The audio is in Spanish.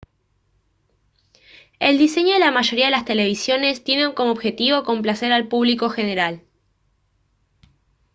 el diseño de la mayoría de las televisiones tiene como objetivo complacer al público general